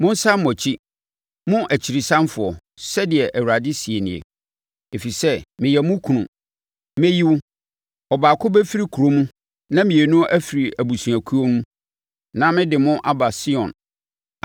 “Monsane mo akyi, mo akyirisanfoɔ,” sɛdeɛ Awurade seɛ nie, “ɛfiri sɛ meyɛ mo kunu. Mɛyi wo; ɔbaako bɛfiri kuro mu na mmienu afiri abusuakuo mu, na mede mo aba Sion.